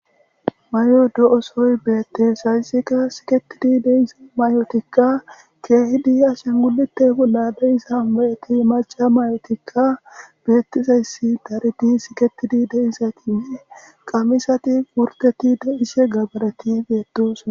mayo do7o sohoy beette hayssekka siketidi de7iza mayotikka keehidi ashengulite bolla de7iza mayeti maca mayotikka beettizayssi daridi siketidi de7izaytinne qamisati wurgeti de7ishe gabareti beedosona.